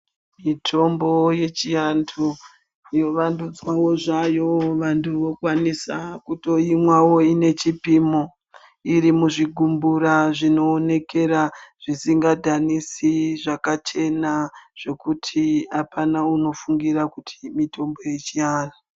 Mitombo yechiantu yovandudzwawo zvayo vantu vokwanisa kutoimwawo iine chipimo. Irimumuzvigumbura zvinoonekera, zvisingadhanisi zvakachena zvokuti hapana unofungira kuti iyi mitombo yechiantu.